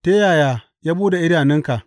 Ta yaya ya buɗe idanunka?